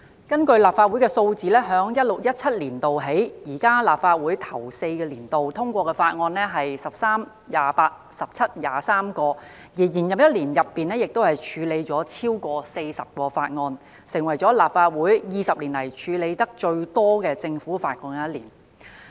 根據立法會數字，自 2016-2017 年度起，現屆立法會首4個年度通過的法案數量為13、28、17及23項，而在延任的一年中，則處理了超過40項法案，成為立法會20年來處理得最多政府法案的一年。